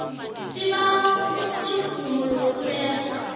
isibawo semvumo yokuletha